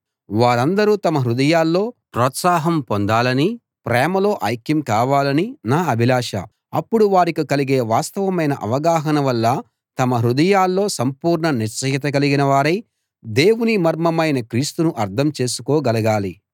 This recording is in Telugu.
వారందరూ తమ హృదయాల్లో ప్రోత్సాహం పొందాలనీ ప్రేమలో ఐక్యం కావాలనీ నా అభిలాష అప్పుడు వారికి కలిగే వాస్తవమైన అవగాహన వల్ల తమ హృదయాల్లో సంపూర్ణ నిశ్చయత కలిగిన వారై దేవుని మర్మమైన క్రీస్తును అర్థం చేసుకోగలగాలి